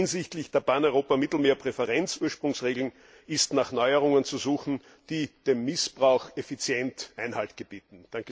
Hinsichtlich der Pan Europa Mittelmeerpräferenzursprungsregeln ist nach Neuerungen zu suchen, die dem Missbrauch effizient Einhalt gebieten.